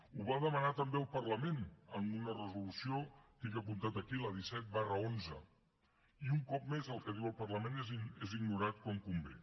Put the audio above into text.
ho va demanar també el parlament en una resolució ho tinc apuntat aquí la disset xi i un cop més el que diu el parlament és ignorat quan convé